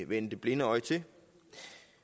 vende det blinde øje til